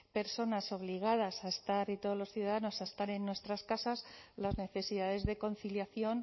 personas obligadas a estar y todos los ciudadanos a estar en nuestras casas las necesidades de conciliación